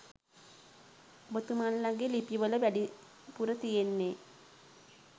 ඔබතුමන්ලගේ ලිපිවල වැඩිපුර තියෙන්නේ